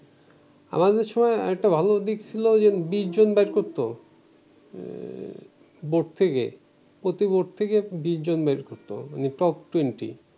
আমাদের সময় একটা ভালোদিক ছিল যে বিশজন বাহির করতো উম বোর্ড থেকে প্রতি বোর্ড থেকে বিশজন বের করতো মানে top twenty